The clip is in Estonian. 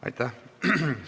Aitäh!